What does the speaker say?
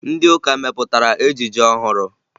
Ndị ụka mepụtara ejije ọhụrụ